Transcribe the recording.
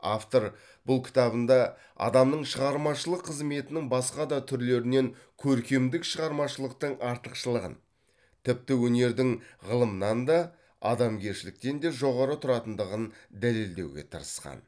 автор бұл кітабында адамның шығармашылық қызметінің басқа да түрлерінен көркемдік шығармашылықтың артықшылығын тіпті өнердің ғылымнан да адамгершіліктен де жоғары тұратындығын дәлелдеуге тырысқан